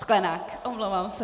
Sklenák, omlouvám se.